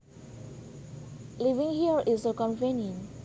Living here is so convenient